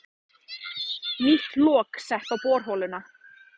Nýtt lok sett á borholuna